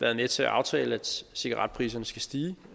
været med til at aftale at cigaretpriserne skal stige